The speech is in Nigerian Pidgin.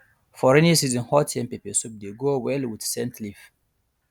for rainy season hot yam pepper soup dey go well with scent leaf